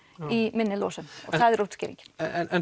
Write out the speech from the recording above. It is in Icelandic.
í minni losun og það er útskýringin en